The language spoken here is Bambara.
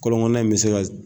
Kɔlɔn kɔnɔna in be se ka